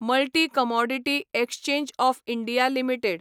multi commodity exchange of India limited